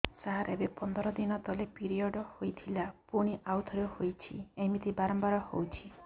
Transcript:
ସାର ଏବେ ପନ୍ଦର ଦିନ ତଳେ ପିରିଅଡ଼ ହୋଇଥିଲା ପୁଣି ଆଉଥରେ ହୋଇଛି ଏମିତି ବାରମ୍ବାର ହଉଛି